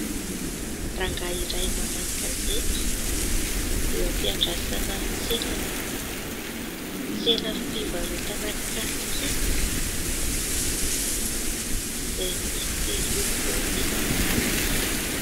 Rangahy iray mamaky gazety eo ampiandrasana ny tsenany. Tsena fivarotana kasikety izay misy loko isankarazany.